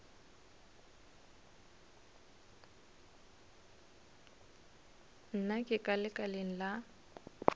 nna ke ka lekaleng la